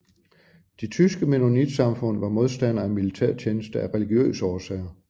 De tyske mennonitsamfund var modstandere af militærtjeneste af religiøse årsager